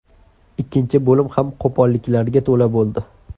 Ikkinchi bo‘lim ham qo‘polliklarga to‘la bo‘ldi.